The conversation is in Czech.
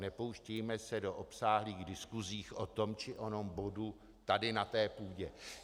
Nepouštějme se do obsáhlých diskusích o tom či onom bodu tady na té půdě.